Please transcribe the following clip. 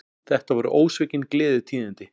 Þetta voru ósvikin gleðitíðindi